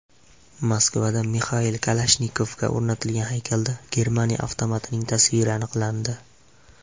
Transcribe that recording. Moskvada Mixail Kalashnikovga o‘rnatilgan haykalda Germaniya avtomatining tasviri aniqlandi.